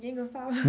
Ninguém gostava?